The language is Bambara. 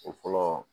O fɔlɔ